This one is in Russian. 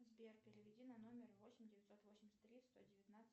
сбер переведи на номер восемь девятьсот восемьдесят три сто девятнадцать